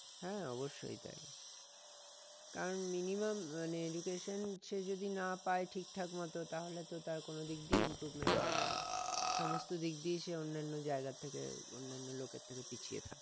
হ্যাঁ অবশ্যই তাই কারণ minimum মানে education সে যদি না পাই ঠিকঠাক মত তাহলে তো তার কোনো দিক দিয়েই improvement হবে না সমস্ত দিক দিয়েই সে অন্যান্য জায়গার থেকে অন্যান্য লোকের থেকে পিছিয়ে থাকবে